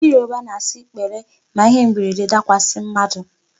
Ndị Yoruba na-asị 'pele' ma ihe mberede dakwasị mmadụ.